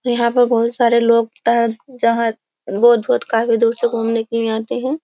यहाँ पर बहुत सारे लोग जहां बहुत-बहुत काफी दूर से घूमने के लिए आते हैं।